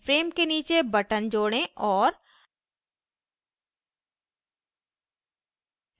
अपने frame के नीचे button जोड़ें और